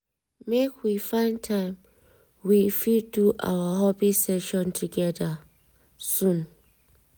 make we find time we fit do our hobby session together soon